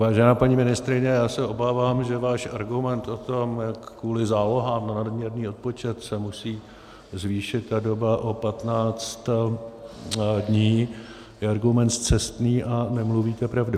Vážená paní ministryně, já se obávám, že váš argument o tom, jak kvůli zálohám na nadměrný odpočet se musí zvýšit ta doba o 15 dní, je argument scestný a nemluvíte pravdu.